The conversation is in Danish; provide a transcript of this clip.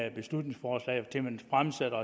et beslutningsforslag til man fremsætter